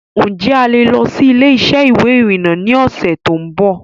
Ǹ jẹ́ a lè lọ síí ilé-isẹ́ ìwé ìrìnà ni ọ̀sẹ̀ tòun bọ̀